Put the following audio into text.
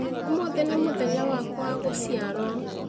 Ũmũthĩ nĩ mũthenya wakwa wa gũciarwo